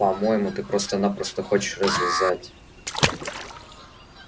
по-моему ты просто-напросто хочешь развязать